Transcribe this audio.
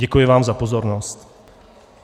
Děkuji vám za pozornost.